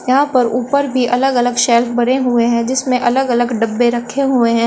यहां पर ऊपर भी अलग-अलग शेल्फ बणे हुए हैं जिसमें अलग-अलग डब्बे रखे हुए हैं।